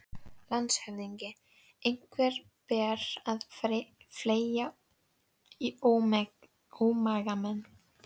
LANDSHÖFÐINGI: Einhverju ber að fleygja í ómagamenn.